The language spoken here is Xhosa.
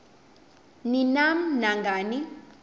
ni nam nangani